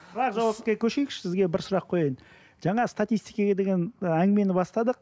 бірақ жауапқа көшейікші сізге бір сұрақ қояйын жаңа статитикеге деген ы әңгімені бастадық